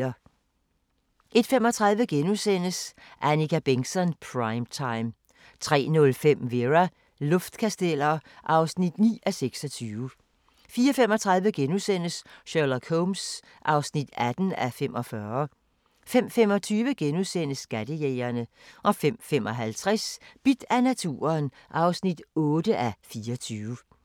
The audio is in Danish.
01:35: Annika Bengtzon: Prime time * 03:05: Vera: Luftkasteller (9:26) 04:35: Sherlock Holmes (18:45)* 05:25: Skattejægerne * 05:55: Bidt af naturen (8:24)